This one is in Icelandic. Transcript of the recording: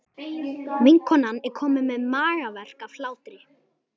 Vinkonan er komin með magaverk af hlátri.